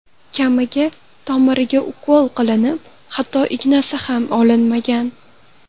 Kamiga tomiriga ukol qilinib, hatto ignasi ham olinmagan.